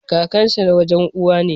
Kakansa na wajen Uwa ne.